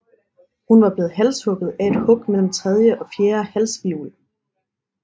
Hun var blevet halshugget af et hug mellem tredje og fjerde halshvirvel